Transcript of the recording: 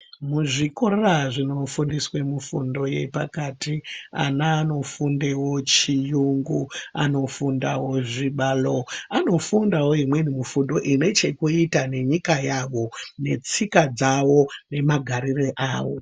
Kuzvikora zvinofundiswe mifundo yepakati, ana anofundewo chiyungu, anofundawo zvibalo, anofundawo imweni mifundo ine chekutita nenyika yavo, netsika dzavo nemagarire avo.